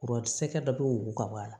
Kuran sɛgɛ dɔ bɛ wo ka bɔ a la